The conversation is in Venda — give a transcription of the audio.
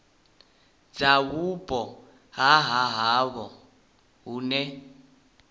dza vhupo ha havho hune